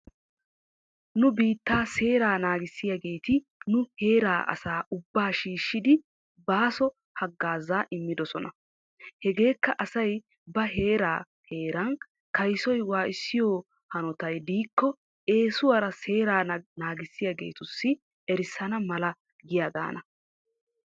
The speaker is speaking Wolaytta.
Nu biittaa seeraa naagissiyaageetti nu heeraa asaa ubbaa shiishshidi baaso hagaaza immidosona. Hegeekka asay ba heera heera kaysoy waayissiyoo hanotay diike eesuwaara seerraa naagissiyaageetussi erissana mala giyaagaana.